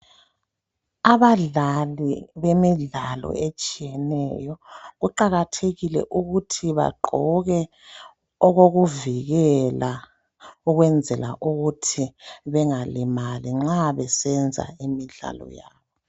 Abadlali bemidlalo etshiyeneyo kuqakathekile ukuthi bagqoke okokuvikeka ukwenzela ukuthi bengalimali nxa besenza imidlalo yabo.